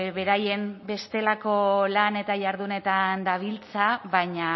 beraien bestelako lan eta jardunetan dabiltza baina